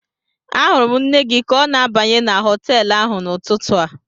Ahụrụ m nne gị ka ọ na-abanye na họtel ahụ n'ụtụtụ a